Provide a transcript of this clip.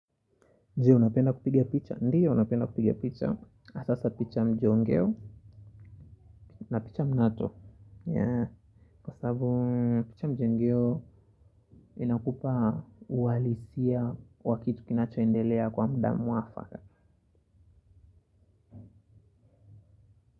Je unapenda kupiga picha? Ndiyo unapenda kupigia picha. Asa hasa picha ya mjongeo na picha mnato. Kwa sabu picha mjongeo inakupa uhalisia wa kitu kinachoendelea kwa muda mwafaka.